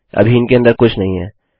अभी इनके अंदर कुछ नहीं है